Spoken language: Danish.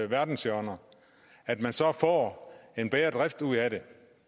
verdenshjørner at man så får en bedre drift ud af det